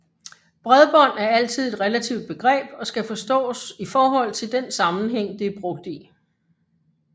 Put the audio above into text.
Bredbånd er altid et relativt begreb og skal forstås i forhold til den sammenhæng det er brugt i